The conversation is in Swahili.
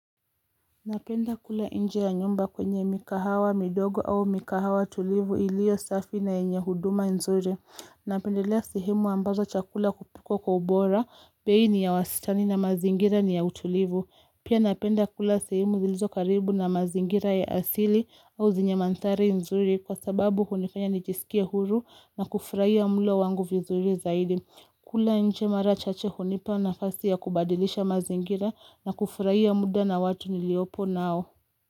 Napenda kula nje ya nyumba kwenye mikahawa, midogo au mikahawa tulivu iliyo safi na yenye huduma nzuri. Napendelea sehemu ambazo chakula kupikwa kwa ubora, bei ni ya wasitani na mazingira ni ya utulivu. Pia napenda kula sehemu zilizo karibu na mazingira ya asili au zenye manthari nzuri kwa sababu hunifanya nijisikie huru na kufurahia mlo wangu vizuri zaidi. Kula nje mara chache hunipa na fasi ya kubadilisha mazingira na kufurahia muda na watu niliopo nao.